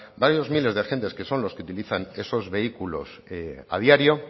varios miles de agentes que son los que utilizan esos vehículos a diario